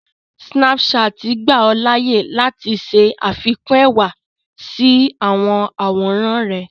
Snapchat gbà ọ láàyè láti ṣẹ àfikún ẹwà sí àwọn àwòrán rẹ̀